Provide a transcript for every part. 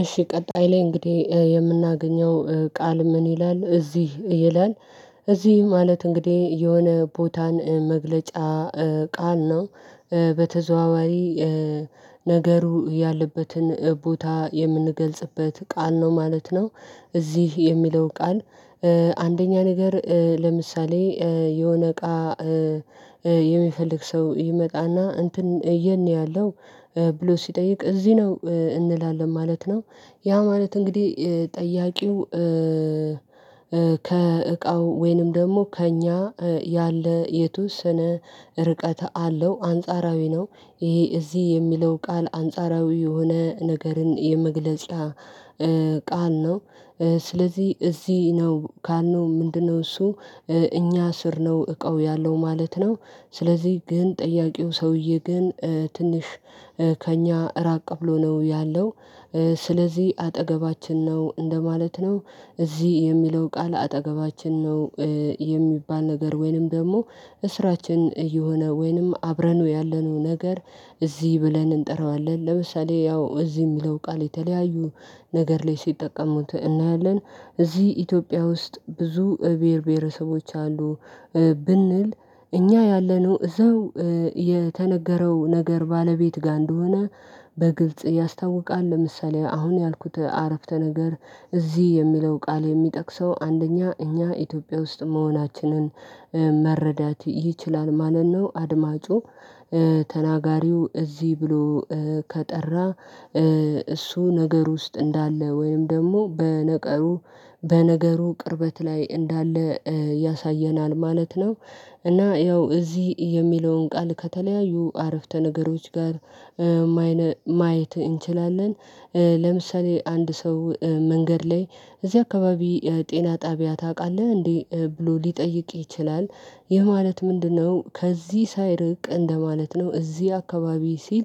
እሺ ቀጣይ ላይ እንግዲህ የምናገኘው ቃል ምን ይላል እዚህ ይላል? እዚህ ማለት እንግዲህ የሆነ ቦታን መግለጫ ቃል ነው። በተዘዋዋሪ ነገሩ ያለበትን ቦታ የምንገልጽበት ቃል ነው ማለት ነው። እዚህ የሚለው ቃል። አንደኛ ነገር ለምሳሌ የሆነ እቃ የሚፈልግ ሰው ይመጣና እንትን የት ነው ያለው? ብሎ ሲጠይቅ እዚህ ነው እንላለን ማለት ነው። ያ ማለት እንግዲህ ጠያቂው ከእቃው ወይንም ደግሞ ከእኛ ያለ የተወሰነ ርቀት አለው አንጻራዊ ነው። ይሄ እዚህ የሚለው ቃል አንጻራዊ የሆነ ነገርን የመግለጫ ቃል ነው። ስለዚህ እዚህ ነው ካልነው ምንድነው እሱ? እኛ ስር ነው እቃው ያለው ማለት ነው። ስለዚህ ግን ጠያቂው ሰውዬ ግን ትንሽ ከእኛ ራቅ ብሎ ነው ያለው ስለዚህ አጠገባችን ነው እንደማለት ነው። እዚህ የሚለው ቃል አጠገባችን ነው። የሚባል ነገር ወይንም ደግሞ እስራችን እየሆነ ወይንም አብረን ያለነው ነገር እዚህ ብለን እንጠራዋለን ለምሳሌ ያው እዚህ የሚለው ቃል የተለያዩ ነገር ላይ ሲጠቀሙት እናያለን። እዚህ ኢትዮጵያ ውስጥ ብዙ ብሄር ብሄረሰቦች አሉ። ብንል እኛ ያለነው እዛው የተነገረው ነገር ባለቤት ጋር እንደሆነ በግልጽ ያስታውቃል። ለምሳሌ አሁን ያልኩት አረፍተ ነገር እዚህ የሚለው ቃል የሚጠቅሰው አንደኛ እኛ ኢትዮጵያ ውስጥ መሆናችንን መረዳት ይችላል ማለት ነው። አድማጩ ተናጋሪው እዚህ ብሎ ከጠራ እሱ ነገር ውስጥ እንዳለ ወይም ደግሞ በነገሩ በነገሩ ቅርበት ላይ እንዳለ ያሳየናል ማለት ነው። እና ያው እዚህ የሚለውን ቃል ከተለያዩ አረፍተ ነገሮች ጋር ማየት እንችላለን። ለምሳሌ አንድ ሰው መንገድ ላይ እዚህ አካባቢ ጤና ጣቢያ ታውቃለህ እንዴ? ብሎ ሊጠይቅ ይችላል። ይህ ማለት ምንድነው? ከዚህ ሳይርቅ እንደማለት ነው እዚህ አካባቢ ሲል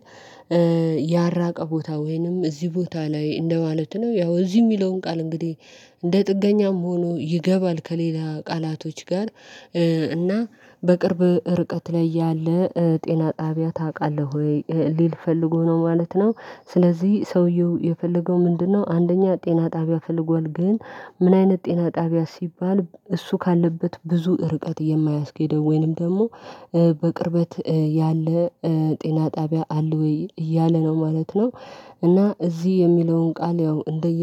ያልራቀ ቦታ ወይንም እዚህ ቦታ ላይ እንደማለት ነው። ያው እዚህ የሚለውን ቃል እንግዲህ እንደ ጥገኛም ሆኖ ይገባል ከሌላ ቃላቶች ጋር። እና በቅርብ ርቀት ላይ ያለ ጤና ጣቢያ ታውቃለህ ወይ? ሊል ፈልጎ ነው ማለት ነው። ስለዚህ ሰውየው የፈለገው ምንድነው? አንደኛ ጤና ጣቢያ ፈልጓል ግን ምን አይነት ጤና ጣቢያ ሲባል እሱ ካለበት ብዙ ርቀት የማያስኬደው ወይንም ደግሞ በቅርበት ያለ ጤና ጣቢያ አለ ወይ እያለ ነው ማለት ነው። እና እዚህ የሚለውን ቃል ያው እንደየ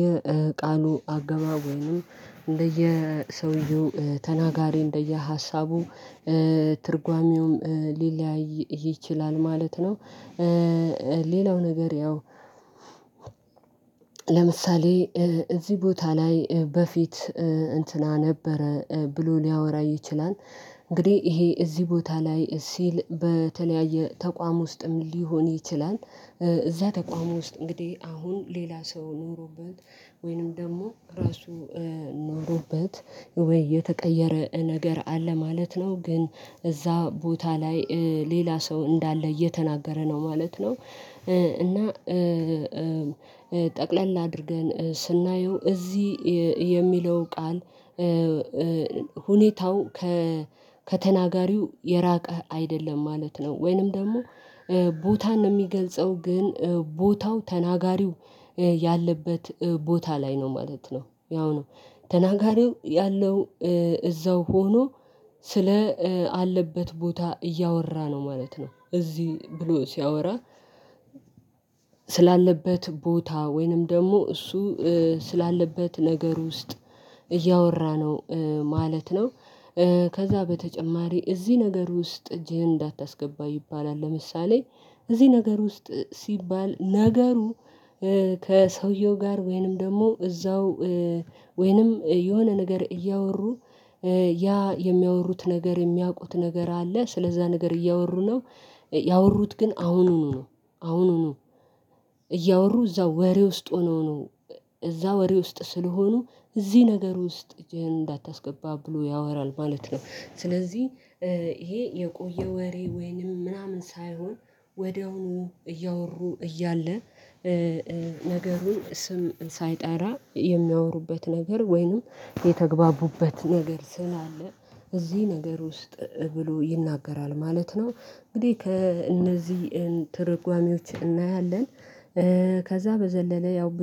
ቃሉ አገባብ ወይንም እንደየሰውየው ተናጋሪ እንደየሀሳቡ ትርጓሜውም ሊለያይ ይችላል ማለት ነው። ሌላው ነገር ያው ለምሳሌ እዚህ ቦታ ላይ በፊት እንትና ነበረ ብሎ ሊያወራ ይችላል። እንግዲህ ይሄ እዚህ ቦታ ላይ ሲል በተለያየ ተቋም ውስጥም ሊሆን ይችላል። እዛ ተቋም ውስጥ እንግዲህ አሁን ሌላ ሰው ኖሮበት ወይንም ደግሞ ራሱ ኖሮበት ወይ የተቀየረ ነገር አለ ማለት ነው። ግን እዛ ቦታ ላይ ሌላ ሰው እንዳለ እየተናገረ ነው ማለት ነው። እና ጠቅለል አድርገን ስናየው እዚህ የሚለው ቃል ሁኔታው ከተናጋሪው የራቀ አይደለም ማለት ነው ወይንም ደግሞ ቦታን የሚገልጸው ግን ቦታው ተናጋሪው ያለበት ቦታ ላይ ነው ማለት ነው። ያው ነው ተናጋሪው ያለው እዛው ሆኖ ስለ አለበት ቦታ እያወራ ነው ማለት ነው። እዚህ ብሎ ሲያወራ ስላለበት ቦታ ወይንም ደግሞ እሱ ስላለበት ነገር ውስጥ እያወራ ነው ማለት ነው። ከዛ በተጨማሪ እዚህ ነገር ውስጥ እጅህን እንዳታስገባ ይባላል። ለምሳሌ እዚህ ነገር ውስጥ ሲባል ነገሩ ከሰውየው ጋር ወይንም ደግሞ እዛው ወይንም የሆነ ነገር እያወሩ ያ የሚያወሩት ነገር የሚያውቁት ነገር አለ ስለዛ ነገር እያወሩ ነው። ያወሩት ግን አሁኑኑ ነው አሁኑኑ እያወሩ እዛው ወሬ ውስጥ ሆኖ ነው እዛው ወሬ ውስጥ ስለሆኑ እዚህ ነገር ውስጥ እጅህን እንዳታስገባ ብሎ ያወራል ማለት ነው። ስለዚህ ይሄ የቆየ ወሬ ወይንም ምናምን ሳይሆን ወዲያውኑ እያወሩ እያለ ነገሩን ስም ሳይጠራ የሚያወሩበት ነገር ወይንም የተግባቡበት ነገር ስላለ እዚህ ነገር ውስጥ ብሎ ይናገራል ማለት ነው። እንግዲህ ከእነዚህ ትርጓሜዎች እናያለን። ከዛ በዘለለ ያው